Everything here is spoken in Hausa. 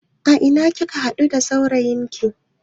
A ina kika haɗu da saurayin ki?